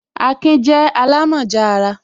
Akin je alamoja ara